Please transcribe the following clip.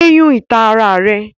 Yé yún ìta ara rẹ!